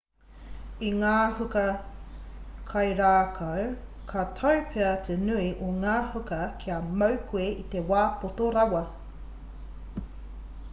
i ngā huka kairākau ka tau pea te nui o ngā huka kia mau koe i te wā poto rawa